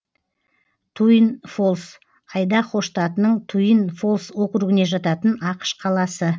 туин фолс айдахо штатының туин фолс округіне жататын ақш қаласы